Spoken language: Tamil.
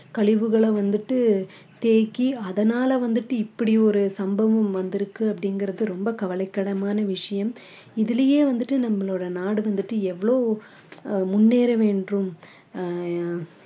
கழிவுகளை வந்துட்டு தேக்கி அதனால வந்துட்டு இப்படி ஒரு சம்பவம் வந்திருக்கு அப்படிங்கிறது ரொம்ப கவலைக்கிடமான விஷயம் இதிலேயே வந்துட்டு நம்மளோட நாடு வந்துட்டு எவ்வளோ ஆஹ் முன்னேற வேண்டும் அஹ்